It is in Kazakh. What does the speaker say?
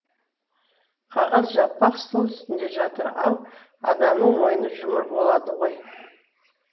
қағаз жалпақ стол үстінде жатыр ал адамның мойыны жұмыр болады ғой